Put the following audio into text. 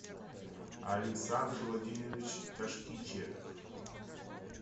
александр владимирович ташкичев